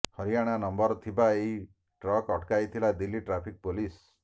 Haryana number ଥିବା ଏହି ଟ୍ରକ୍କୁ ଅଟକାଇଥିଲା ଦିଲ୍ଲୀ ଟ୍ରାଫିକ୍ ପୋଲିସ